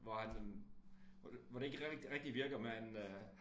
Hvor han hvor det hvor det ikke rigtig virker men øh